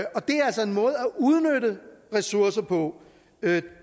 udnytte ressourcer på